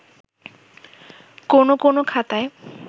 কোন কোন খাতায়